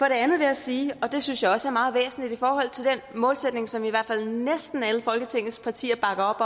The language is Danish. andet vil jeg sige og det synes jeg også er meget væsentligt i forhold til den målsætning som i hvert fald næsten alle folketingets partier bakker